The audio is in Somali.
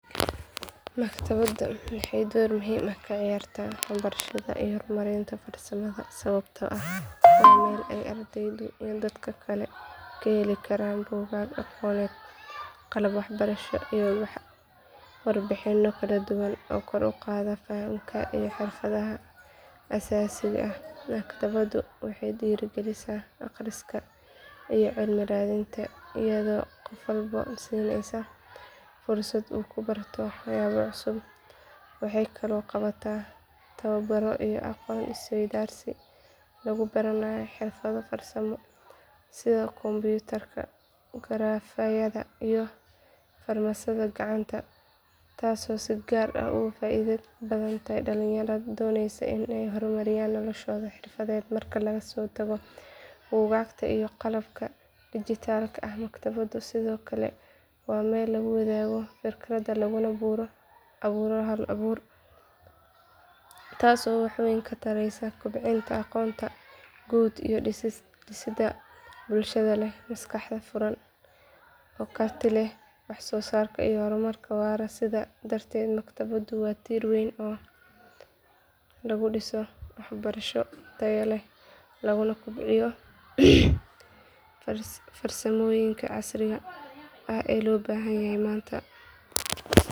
Maktabadu waxay door muhiim ah ka ciyaartaa waxbarashada iyo horumarinta farsamada sababtoo ah waa meel ay ardaydu iyo dadka kale ka heli karaan buugaag aqooneed qalab waxbarasho iyo warbixinno kala duwan oo kor u qaada fahamka iyo xirfadaha aasaasiga ah maktabaddu waxay dhiirigelisaa akhriska iyo cilmi raadinta iyadoo qof walba siinaysa fursad uu ku barto waxyaabo cusub waxay kaloo qabataa tababbaro iyo aqoon iswaydaarsi lagu baranayo xirfado farsamo sida kombiyuutarka garaafyada iyo farsamada gacanta taasoo si gaar ah ugu faa’iido badan dhalinyarada doonaysa inay horumariyaan noloshooda xirfadeed marka laga soo tago buugaagta iyo qalabka digitalka ah maktabaddu sidoo kale waa meel lagu wadaago fikradaha laguna abuuro hal abuur taasoo wax weyn ka taraysa kobcinta aqoonta guud iyo dhisidda bulshada leh maskax furan oo karti u leh wax soo saar iyo horumar waara sidaas darteed maktabaddu waa tiir weyn oo lagu dhiso waxbarasho tayo leh laguna kobciyo farsamooyinka casriga ah ee loo baahan yahay maanta